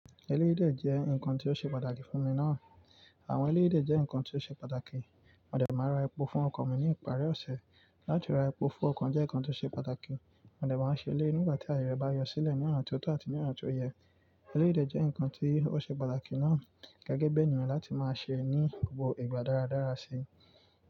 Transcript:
Eléyìdé jẹ́ nǹkan tí ó ṣe pàtàkì fún mi náà. Àwọn eléyìdé jẹ́ nǹkan tí ó ṣe pàtàkì. Mọ̀dẹ́ máa ra epo fún ọkọ̀ mi ní ìparí ọ̀sẹ̀. Láti ra epo fún ọkọ̀ jẹ́ nǹkan tí ó ṣe pàtàkì. Mọ̀dẹ́ máa ṣẹ eleyii nígbà tí ayẹre bá yọ sílẹ̀ ní ona tí ó tó àti ní ona tí ó yẹ. Eléyìdé jẹ́ nǹkan tí ó ṣe pàtàkì náà gẹ́gẹ́ bí ènìyàn láti máa ṣe é ní gbogbo ìgbà dáradára sí.